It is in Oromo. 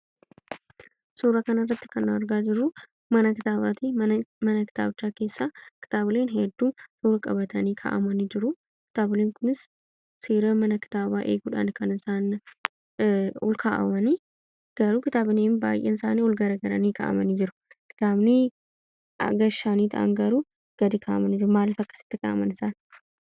Suura kan irratti kan argaa jirruu mana kitaabaatii. Mana kitaabichaa keessa kitabilee hedduun roga qabatanii ka'amanii jiru. Kitabooleen kunis seera mana kitaabaa eeguudhaan kan olkaa'amani. Garuu kitabileennheddun isaani ol garagalanii ka'amanii jiru. Kitaabni haga shanii ta'an garuu gadi ka'amanii jiru. Maaliif akkasitti ka'aman isaan?